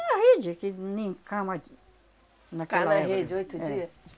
É a rede, que nem cama ti... Ficava na rede, oito dias? É.